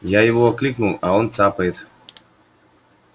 я его окликнул а он цапает